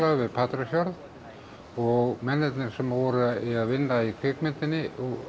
við Patreksfjörð og mennirnir sem voru að vinna í kvikmyndinni